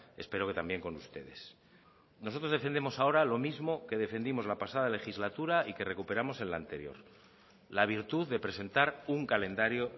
espero que también con ustedes nosotros defendemos ahora lo mismo que defendimos la pasada legislatura y que recuperamos en la anterior la virtud de presentar un calendario